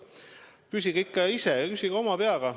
Küsige ikka ise, küsige oma peaga.